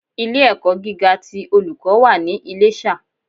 Ilé ẹ̀kọ́ gíga ti Olùkọ́ wà ní Iléṣà